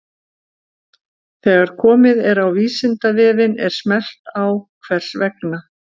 Þegar komið er á Vísindavefinn er smellt á Hvers vegna?